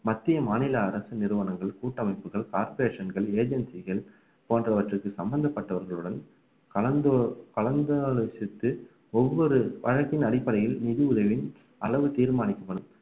மத்திய மாநில அரசு நிறுவனங்கள் கூட்டமைப்புகள் corporation கள் agency கள் போன்றவற்றிற்கு சம்பந்தப்பட்டவர்களுடன் கலந்து கலந்து ஆலோசித்து ஒவ்வொரு வழக்கின் அடிப்படையில் நிதி உதவி அளவு தீர்மானிக்கப்படும்